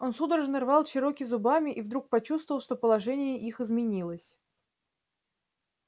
он судорожно рвал чероки зубами и вдруг почувствовал что положение их изменилось